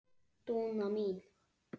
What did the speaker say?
Dúna mín.